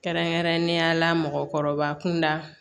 Kɛrɛnkɛrɛnnenya la mɔgɔkɔrɔba kunda